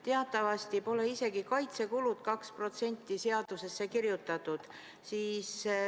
Teatavasti pole kaitsekulud 2% isegi mitte seadusesse kirjutatud.